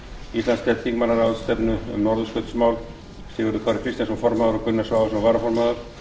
íslandsdeild þingmannaráðstefnunnar um norðurskautsmál sigurður kári kristjánsson formaður og gunnar svavarsson varaformaður